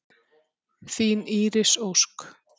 Þín Íris Ósk.